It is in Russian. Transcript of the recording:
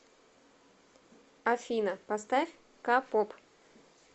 афина поставь ка поп